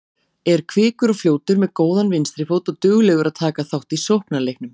Er kvikur og fljótur, með góðan vinstri fót og duglegur að taka þátt í sóknarleiknum.